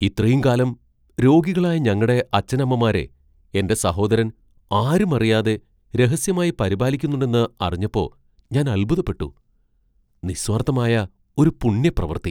ഇത്രയും കാലം രോഗികളായ ഞങ്ങടെ അച്ഛനമ്മമാരെ എന്റെ സഹോദരൻ ആരും അറിയാതെ രഹസ്യമായി പരിപാലിക്കുന്നുണ്ടെന്ന് അറിഞ്ഞപ്പോ ഞാൻ അത്ഭുതപ്പെട്ടു. നിസ്വാർത്ഥമായ ഒരു പുണ്യപ്രവൃത്തി.